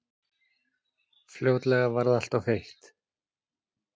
Fljótlega varð alltof heitt.